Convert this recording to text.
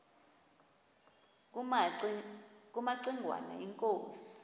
kumaci ngwana inkosi